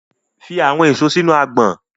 Put the fruits in the basket